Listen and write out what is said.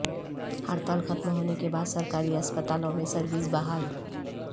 ہڑتال ختم ہونے کے بعد سرکاری اسپتالوں میں سرویس بحال